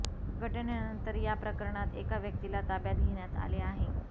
घटनेनंतर या प्रकरणात एका व्यक्तीला ताब्यात घेण्यात आले आहे